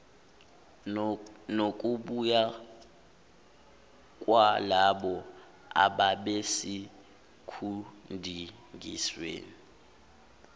nokubuya kwalabo ababesekudingisweni